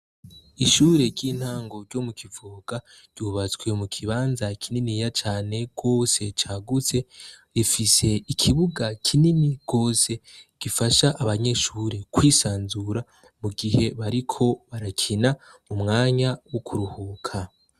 Ishure ry'intango ryo mu Kivogaa ryubatswe mu kibanza kininiya cyane kose cyagutse .Rifise ikibuga kinini kose gifasha abanyeshuri kwisanzura mu gihe bariko barakina u mwanya wo kurohuka.